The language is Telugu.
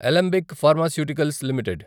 Alembic Pharmaceuticals limited